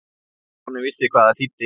Stjáni vissi hvað það þýddi.